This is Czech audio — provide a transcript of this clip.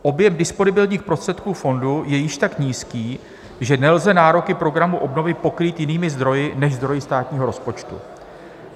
Objem disponibilních prostředků fondu je již tak nízký, že nelze nároky programu obnovy pokrýt jinými zdroji než zdroji státního rozpočtu.